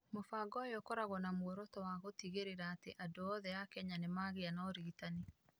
Mũbango ũyũ ũkoragwo na muoroto wa gũtigĩrĩra atĩ andũ othe a Kenya nĩ magĩaga na ũrigitani.